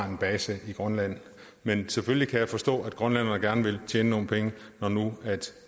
en base i grønland men selvfølgelig kan jeg forstå at grønlænderne gerne vil tjene nogle penge når nu